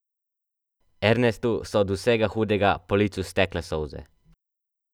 Ernestu so od vsega hudega po licu stekle solze.